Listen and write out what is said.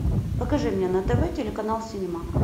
покажи мне на тв телеканал синема